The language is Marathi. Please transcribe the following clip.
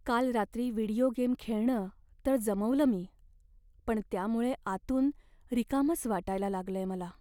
काल रात्री व्हिडिओ गेम खेळणं तर जमवलं मी, पण त्यामुळे आतून रिकामंच वाटायला लागलंय मला.